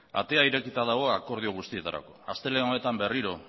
atea irekita dago akordio guztietarako astelehen honetan berriro